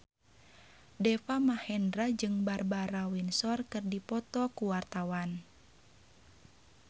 Deva Mahendra jeung Barbara Windsor keur dipoto ku wartawan